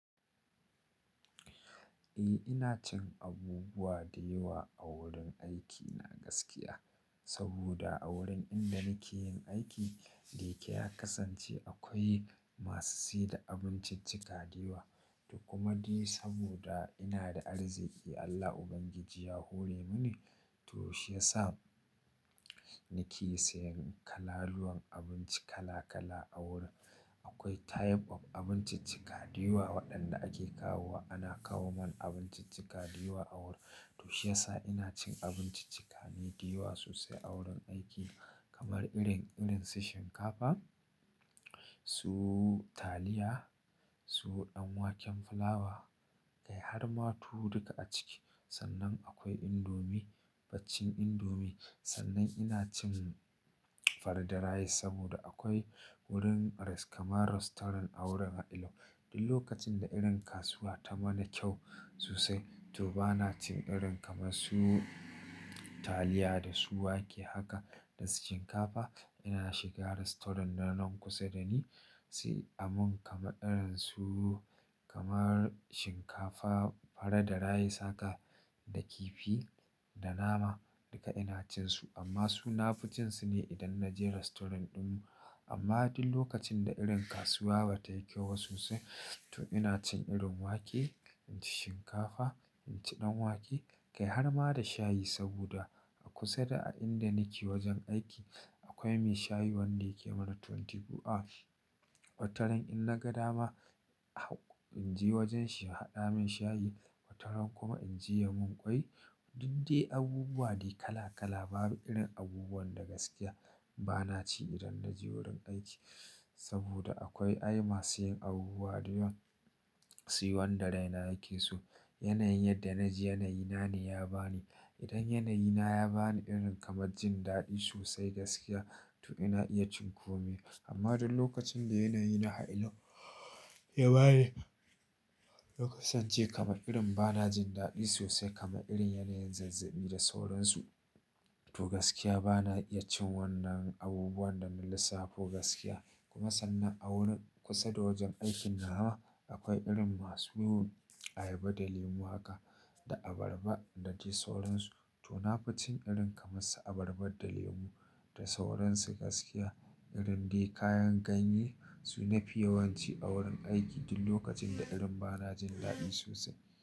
Eh ina cin abubuwa da yawa a wurin aiki na gaskiya. Saboda a wurin inda nake yin aiki da yake ya kasance akwai masu siyar da abinciccika da yawa. To kuma dai saboda ina da arziki Allah Ubangiji ya hore mani to shi ya sa nake sayan kalaluwan abinci kala kala a wurin. Akwai type of abinciccika da yawa waɗanda ake kawo wa. Ana kawo mun abinciccika da yawa a wurin. To shi ya sa ina cin abinciccika ne da yawa sosai a wurin aiki kamar irin, irinsu shinkafa, su taliya, su ɗanwaken fulawa kai har ma tuwo duka a ciki. Sannan akwai indomie, baccin indomie, Sannan ina cin farar da rice saboda akwai wurin rest-- kamar rastaurant a wurin. Duk lokacin da irin kasuwa ta mana kyau sosai to bana cin irin kamar su taliya da su wake haka da su shinkafa. Ina shiga rastaurant din nan kusa da ni, sai a mun kama irin su kamar shinkafa, fara da rice haka da kifi da nama duka ina cin su. Amma su nafi cin su ne idan na je rastoran ɗinmu. Amma duk lokacin da irin kasuwa bata yi kyau ba sosai to ina cin irin wake, inci shinkafa, inci ɗanwake kai har ma da shayi saboda a kusa da a inda nake wajen aiki akwai mai shayi wanda yake mana twenty four hours. Wataran in na ga dama in je wajen shi ya haɗa min shayi, wataran kuma in je ya mun kwai. Dudde abubuwa dai kala kala babu irin abubuwan da gaskiya bana ci idan na je wurin aiki. Saboda akwai ai masu yin abubuwa da yawa, suyi wanda raina yake so. Yanayin yadda na ji yanayi na ne ya bani. Idan yanayi na ya bani irin kamar jin daɗi sosai gaskiya to ina iya cin kome. Amma duk lokacin da yanayi na hailo ya bani lokacin ce kamar irin bana jin daɗi sosai kamar irin yanayin zazzaɓi da sauransu to gaskiya bana iya cin wannan abubuwan da na lissafo gaskiya. Kuma sannan a wurin kusa da wajen aikin na ma akwai irin masu yin ayaba da lemu haka da abarba na dai sauransu. To nafi cin irin kamar su abarba da lemu da sauransu gaskiya irin dai kayan ganye su na fi yawan ci a wurin aiki duk lokacin da irin bana jin daɗi sosai.